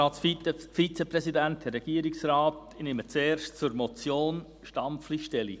Ich nehme zuerst zur Motion Stampfli Stellung.